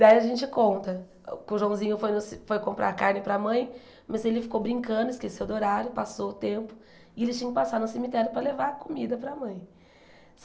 Daí a gente conta, que o Joãozinho foi no foi comprar carne para a mãe, mas ele ficou brincando, esqueceu do horário, passou o tempo, e ele tinha que passar no cemitério para levar a comida para a mãe.